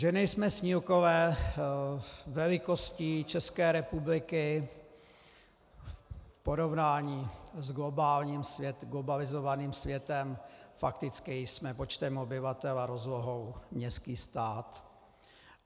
Že nejsme snílkové, velikostí České republiky v porovnání s globalizovaným světem fakticky jsme počtem obyvatel a rozlohou městský stát.